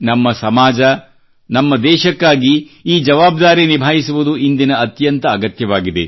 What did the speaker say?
ನಮ್ಮ ಸಮಾಜ ನಮ್ಮ ದೇಶಕ್ಕಾಗಿ ಈ ಜವಾಬ್ದಾರಿ ನಿಭಾಯಿಸುವುದು ಇಂದಿನ ಅತ್ಯಂತ ಅಗತ್ಯವಾಗಿದೆ